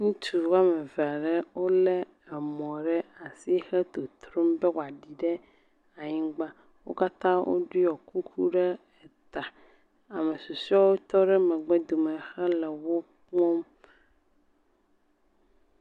Ŋutsu woame eve ɖe wolé emɔ ɖe asi hele totrom be wòaɖi ɖe anyigba. Wo katã woɖɔ kuku ɖe eta. Ame susɔewo tɔ ɖe megbe dome hele wo kpɔm.